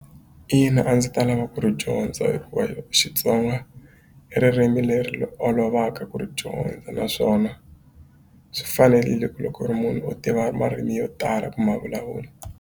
Ina a ndzi ta lava ku ri dyondza hikuva Xitsonga i ririmi leri olovaka ku ri dyondza naswona swi fanerile ku loko u ri munhu u tiva marimi yo tala ku ma vulavula.